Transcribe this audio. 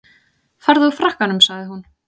Farðu úr frakkanum sagði hún.